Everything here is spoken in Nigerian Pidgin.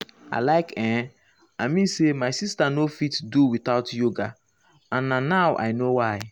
like[um]i mean say my sister nor fit do without yoga and na now i know why.